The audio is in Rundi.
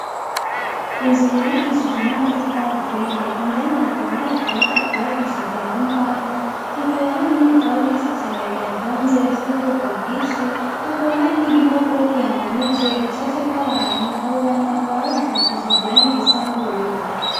Inzu yubakishije n'amatafari aturiye indani hakaba har'akabati kubakishije mu mbaho, hakaba hari n'ibitabo vyinshi cane vy'ubwoko bwishi bihatonze, hakaba ahri n'igipapauro kihamanitse gicapfyeko abantu abo bantu bakaba bacapishije irangi risa n'ubururu.